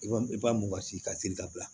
I b'a i b'a mugan si ka siri ka bila